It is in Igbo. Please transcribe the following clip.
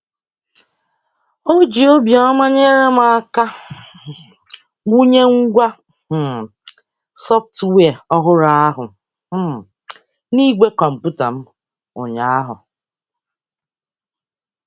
O ji obiọma nyere m aka wụnye ngwa um sọftwịa ọhụrụ ahụ um n'igwe kọmputa m ụnyaahụ.